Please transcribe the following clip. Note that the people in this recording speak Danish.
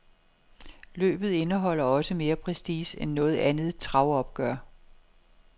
Løbet indeholder også mere prestige end noget andet travopgør.